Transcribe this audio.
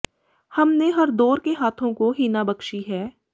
ਹਮ ਨੇ ਹਰ ਦੌਰ ਕੇ ਹਾਥੋਂ ਕੋ ਹਿਨਾ ਬਕਸ਼ੀ ਹੈ